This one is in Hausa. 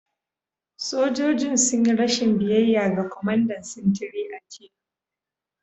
Sojojin sun yi rashin biyayya ga kwamandan sintiri a jiya